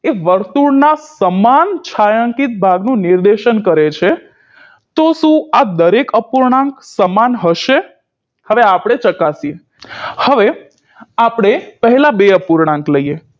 એ વર્તુળના તમામ છાંયાંકીત ભાગનું નિર્દેશન કરે છે તો શું આ દરેક અપૂર્ણાંક સમાન હશે હવે આપણે ચકાસીએ હવે આપણે પહેલા બે અપૂર્ણાંક લઈએ